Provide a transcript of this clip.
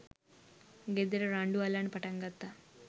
ගෙදර රණ්ඩු අල්ලන්න පටන්ගත්තා